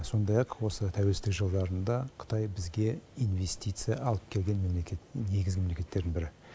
сондай ақ осы тәуелсіздік жылдарында қытай бізге инвестиция алып келген мемлекет негізгі мемлекеттердің бірі